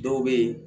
Dɔw bɛ yen